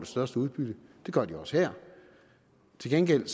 største udbytte det gør de også her til gengæld